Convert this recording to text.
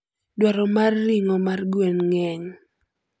Dwaro mar ring'o mar gwen ng'eny.